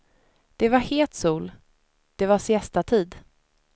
Det var het sol, det var siestatid.